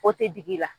O tɛ digi la